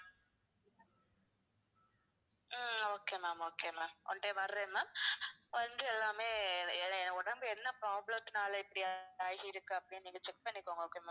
ஆஹ் okay ma'am, okay ma'am one day வர்றேன் ma'am வந்து எல்லாமே என் உடம்பு வந்து என்ன problem னால இப்படி ஆகிருக்குன்னு check பண்ணிக்கோங்க okay வா.